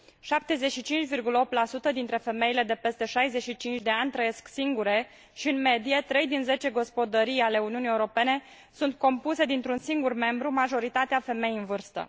75,8 dintre femeile de peste 65 de ani trăiesc singure și, în medie, 3 din 10 gospodării ale Uniunii Europene sunt compuse dintr un singur membru, majoritatea femei în vârstă.